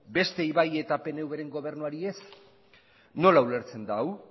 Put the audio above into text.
besteei bai eta pnvren gobernuari ez nola ulertzen da hau